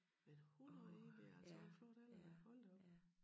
Men 101 det altså også en flot alder hold da op